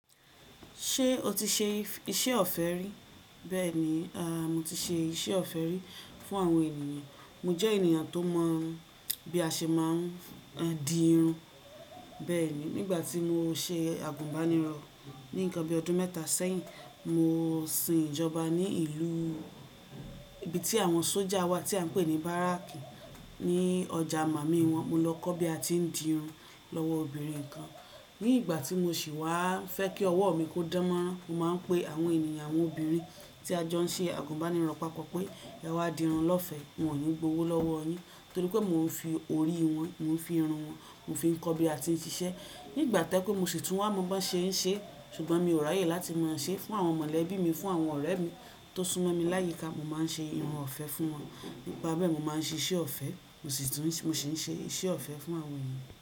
Ṣé o ti ṣe iṣẹ́ ọ̀fẹ́ rí? Bẹ́ẹ̀ni, a mo ti ṣe iṣẹ́ ọ̀fẹ́ rí fún àwọn ènìyàn. Mo jẹ́ ènìyàn tó mọ̀ bí a ṣe máa ń di irun. Bẹ́ẹ̀ni, nígbà tí mo ṣe àgùnbánirọ̀ ní nǹkan bí ọdún mẹ́ta sẹ́yìn, mo sin ìjọba ní ìlú ibi tí àwọn sójà wà tí à ń pè ní báràkì ní ọjà màmi wọ́n. Mo lọ kọ́ bí a ti ń di irun lọ́wọ́ obìnrin kan. Ní ìgbà tí mo sì wá fẹ́ kí ọwọ́ mi kó dánmọ́rán, mo máa ń pe àwọn ènìyàn, àwọn obìnrin tí a jọ ń ṣe àgùnbánirọ̀ pápọ̀ pé ẹ wá di irun lọ́fẹ̀ẹ́. Mi ò ní gbowó lọ́wọ́ yín torí pé mo ń fi orí wọn, mo ń fi irun wọn, mo ń fi kọ́ bí a ti ń ṣiṣẹ́. Nígbà tẹ́kọ́ mo sì tún wá mọ bí ṣe ń ṣe, ṣùgbọ́n mi ò ráyè láti máa ṣe fún àwọn mọ̀lẹ́bí mi, fún àwọn ọ̀rẹ́ mi tó súnmọ́ mi láyìíká. Mo máa ń ṣe irun ọ̀fẹ́ fún wọn. Nípa bẹ́ẹ̀ mo máa ń ṣe iṣẹ́ ọ̀fẹ́, mo sì tún, mo sì ń ṣe iṣẹ́ ọ̀fẹ́ fún àwọn ènìyàn.